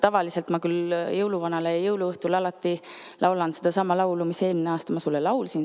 Tavaliselt ma küll jõuluvanale jõuluõhtul alati laulan sedasama laulu, mis ma eelmine aasta sulle laulsin.